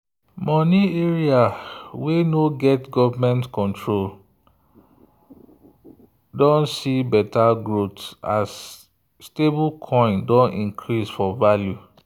money area wey no get government control (defi) don see better growth as stablecoin don increase for value.